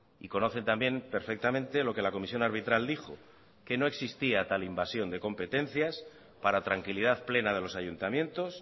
y conocen también perfectamente lo que la comisión arbitral dijo que no existía tal invasión de competencias para tranquilidad plena de los ayuntamientos